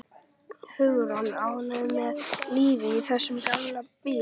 Hugrún: Ánægður með lífið í þessum gamla bíl?